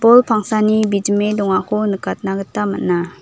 pangsani bijime dongako nikatna gita man·a.